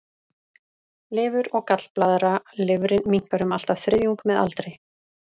Lifur og gallblaðra Lifrin minnkar um allt að þriðjung með aldri.